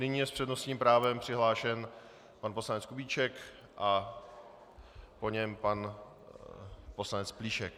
Nyní je s přednostním právem přihlášen pan poslanec Kubíček a po něm pan poslanec Plíšek.